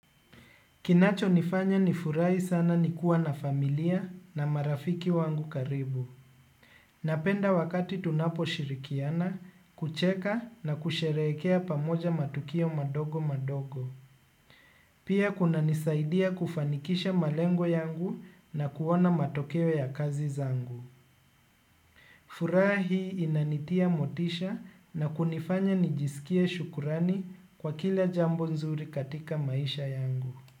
Kinacho nifanya nifurahi sana nikuwa na familia na marafiki wangu karibu. Napenda wakati tunapo shirikiana, kucheka na kusherehekea pamoja matukio madogo madogo. Pia kunanisaidia kufanikisha malengo yangu na kuona matokeo ya kazi zangu. Furaha hii inanitia motisha na kunifanya nijisikie shukurani kwa kila jambo nzuri katika maisha yangu.